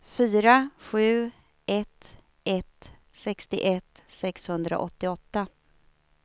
fyra sju ett ett sextioett sexhundraåttioåtta